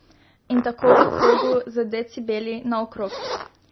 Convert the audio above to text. In tako v krogu, z decibeli, naokrog.